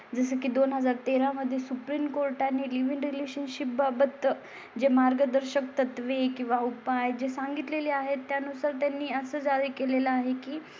जसं की दोन हजार तेरा मध्ये सुप्रीम कोर्ट आणि लिव्हिंग रिलेशनशीप बाबत जे मार्गदर्शक तत्त्वे किंवा उपाय जे सांगितले ली आहे त्यानुसार त्यांनी आसाम झाले केलेलं आहे की